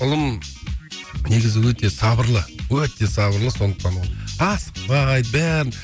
ұлым негізі өте сабырлы өте сабырлы сондықтан ол асықпайды бәрін